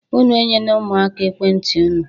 Unu enyene ụmụaka ekwentị unu